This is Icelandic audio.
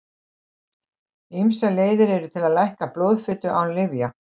Ýmsar leiðir eru til að lækka blóðfitu án lyfja.